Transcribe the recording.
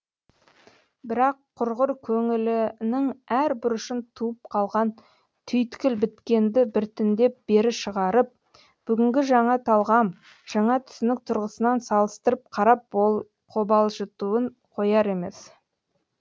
бірақ құрғыр көңілінің әр бұрышын туып қалған түйткіл біткенді біртіндеп бері шығарып бүгінгі жаңа талғам жаңа түсінік тұрғысынан салыстырып қарап қобалжытуын қояр емес